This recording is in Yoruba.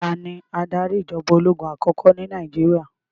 Tani adarí ìjọba ológun àkọ́kọ́ ní Nàìjíríà?